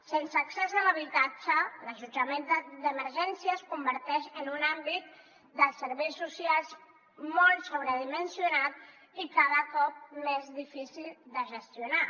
sense accés a l’habitatge l’allotjament d’emergència es converteix en un àmbit dels serveis socials molt sobredimensionat i cada cop més difícil de gestionar